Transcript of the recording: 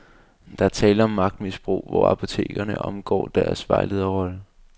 Der er tale om magtmisbrug, hvor apotekerne omgår deres vejlederrolle.